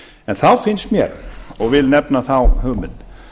en þá finnst mér og vil nefna þá hugmynd